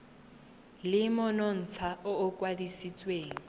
le monontsha o o kwadisitsweng